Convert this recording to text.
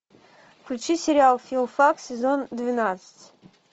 включи сериал филфак сезон двенадцать